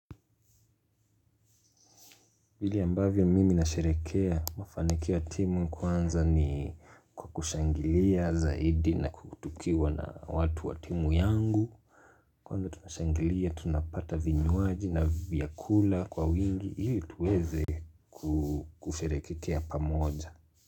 Vile ambavyo mimi nasherekea mafanikio wa timu kwanza ni kwa kushangilia zaidi na kutukiwa na watu wa timu yangu. Kwanza tukishangilia, tunapata vinywaji na vyakula kwa wingi, hili tuweze kusherekekea pamoja.